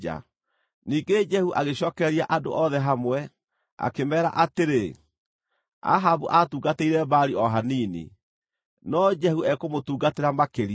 Ningĩ Jehu agĩcookereria andũ othe hamwe, akĩmeera atĩrĩ, “Ahabu aatungatĩire Baali o hanini; no Jehu ekũmũtungatĩra makĩria.